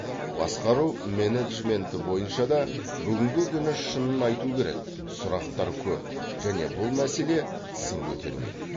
басқару менеджменті бойынша да бүгінгі күні шынын айту керек сұрақтар көп және бұл мәселе сын көтермейді